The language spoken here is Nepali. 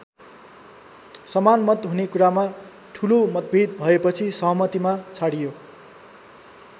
समान मत हुने कुरामा ठूलो मतभेद भएपछि सहमतिमा छाडियो।